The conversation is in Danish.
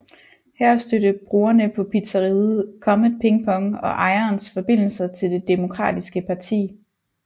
Her stødte brugerne på pizzeriaet Comet Ping Pong og ejerens forbindelser til Det Demokratiske Parti